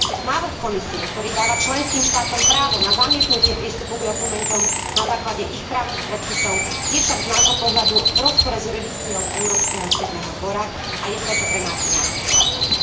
Návrh Komisie, ktorý dáva členským štátom právo na zamietnutie prístupu k dokumentom na základe ich právnych predpisov je však z nášho pohľadu v rozpore s jurisdikciou Európskeho súdneho dvora, a je preto pre nás neakceptovateľný.